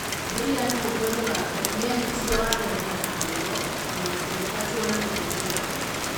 Brian Hungwe Mugabe nĩ aanyitire wathani na kĩyo, na akĩingatwo nĩ mbũtũ ya ita.